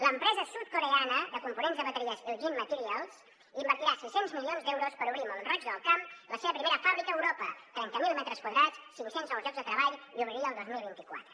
l’empresa sud coreana de components de bateries iljin materials invertirà sis cents milions d’euros per obrir a mont roig del camp la seva primera fàbrica a europa trenta mil metres quadrats cinc cents nous llocs de treball i obriria el dos mil vint quatre